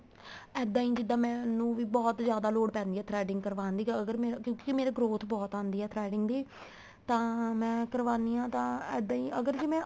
ਇੱਦਾਂ ਹੀ ਜਿੱਦਾਂ ਮੈਨੂੰ ਵੀ ਬਹੁਤ ਜਿਆਦਾ ਲੋੜ ਪੈਂਦੀ ਏ threading ਕਰਵਾਣ ਦੀ ਅਗਰ ਮੇਰੇ ਕਿਉਂਕਿ ਮੇਰੇ growth ਬਹੁਤ ਆਦੀ ਏ threading ਦੀ ਤਾਂ ਮੈਂ ਕਰਵਾਣੀ ਹਾਂ ਤਾਂ ਇੱਦਾਂ ਹੀ ਅਗਰ ਜ਼ੇ ਮੈਂ